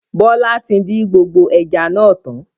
Bọlá tí din gbogbo ẹja náà tán